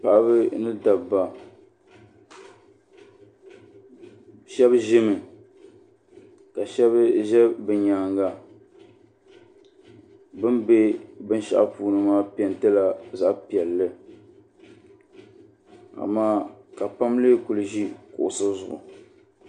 paɣaba ni dabba shɛba ʒimi ka shɛba ʒe bɛ nyaaga bɛ be binshɛɣu puuni maa pɛɛnti la zaɣ' piɛlli amaa ka pam leei kuli ʒi kuɣisi zuɣu.